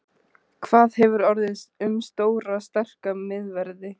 Hvað hefur orðið um stóra sterka miðverði?